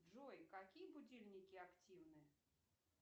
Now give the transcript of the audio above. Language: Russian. джой какие будильники активны